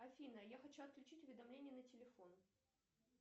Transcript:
афина я хочу отключить уведомления на телефон